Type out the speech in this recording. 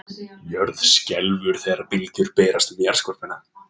Jörð skelfur þegar bylgjur berast um jarðskorpuna.